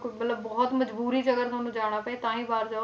ਮਤਲਬ ਬਹੁਤ ਮਜ਼ਬੂਰੀ 'ਚ ਅਗਰ ਤੁਹਾਨੂੰ ਜਾਣਾ ਪਏ ਤਾਂ ਹੀ ਬਾਹਰ ਜਾਓ,